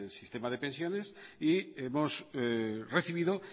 sistema de pensiones y hemos recibido